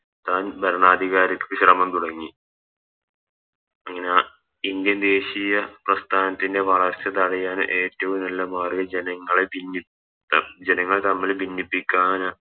രൻ ഭരണാധികാരിക്ക് ശ്രമം തുടങ്ങി അങ്ങനെ Indian ദേശീയ പ്രസ്ഥാനത്തിൻറെ വളർച്ച തടയാൻ ഏറ്റവും നല്ല മാർഗം ജനങ്ങളെ ഭിന്നിപ്പിക്ക ജനങ്ങളെ തമ്മില് ഭിന്നിപ്പിക്കാനാ